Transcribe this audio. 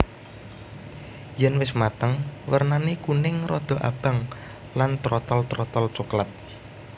Yèn wis mateng wernané kuning rada abang lan trotol terotol coklat